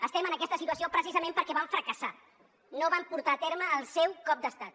estem en aquesta situació precisament perquè van fracassar no van portar a terme el seu cop d’estat